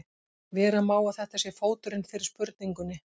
Vera má að þetta sé fóturinn fyrir spurningunni.